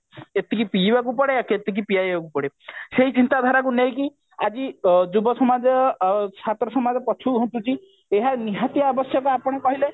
ଏତିକି ପିଇବାକୁ ପଡେ କେତିକି ପିଏଇବାକୁ ପଡେ ସେଇ ଚିନ୍ତାଧାରା କୁ ନେଇକି ଆଜି ଯୁବସମାଜ ଛାତ୍ର ସମାଜ ପଛକୁ ଘୁଞ୍ଚୁଛି ଏହା ନିହାତି ଆବଶ୍ୟକ ଆପଣ କହିଲେ